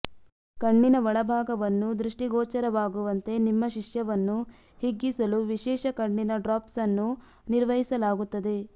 ಕಣ್ಣಿನ ಒಳಭಾಗವನ್ನು ದೃಷ್ಟಿಗೋಚರವಾಗುವಂತೆ ನಿಮ್ಮ ಶಿಷ್ಯವನ್ನು ಹಿಗ್ಗಿಸಲು ವಿಶೇಷ ಕಣ್ಣಿನ ಡ್ರಾಪ್ಸ್ ಅನ್ನು ನಿರ್ವಹಿಸಲಾಗುತ್ತದೆ